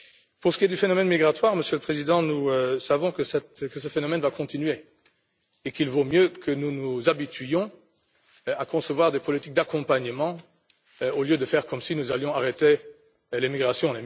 Pour ce qui est du phénomène migratoire, Monsieur le Président, nous savons qu'il va continuer et qu'il vaut mieux que nous nous habituions à concevoir des politiques d'accompagnement au lieu de faire comme si nous allions arrêter les migrations.